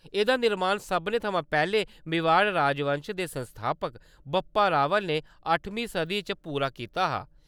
एह्‌‌‌दा निर्माण सभनें थमां पैह्‌‌‌लै मेवाड़ राजवंश दे संस्थापक बप्पा रावल ने अठमीं सदी च पूरा कीता हा।